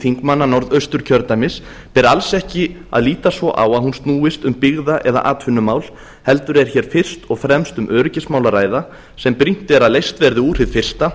þingmanna norðausturkjördæmis ber alls ekki að líta svo á að hún snúist um byggða eða atvinnumál heldur er hér fyrst og fremst um öryggismál að ræða sem brýnt er að leyst verði úr hið fyrsta